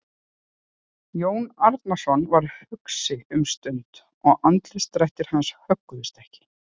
Jón Arason varð hugsi um stund og andlitsdrættir hans högguðust ekki.